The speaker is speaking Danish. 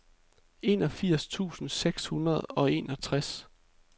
enogfirs tusind seks hundrede og enogtres